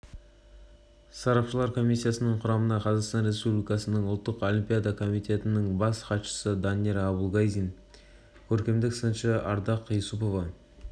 сарапшылар комиссиясының құрамына қазақстан республикасының ұлттық олимпиада комитетінің бас хатшысы данияр абулгазин көркемдік сыншы ардақ юсупова